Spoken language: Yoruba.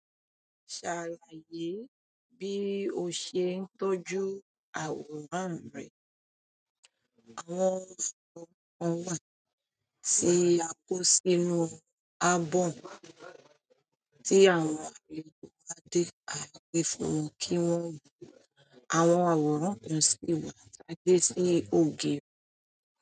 Ṣàlàyé bí o ṣe ń tọ́jú àwòrán rẹ. Àwọn àwòrán kan wà tí a kó sínú album tí àwọn egbẹ̀ ba de agbé fún wọn kí wọ́n wo. Àwọn àwòrán kan sì wà tá gbe sí ògiri.